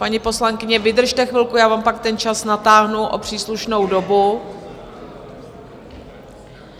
Paní poslankyně, vydržte chvilku, já vám pak ten čas natáhnu o příslušnou dobu.